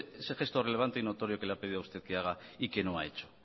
ese gesto relevante y notorio que le ha pedido a usted que haga y que no ha hecho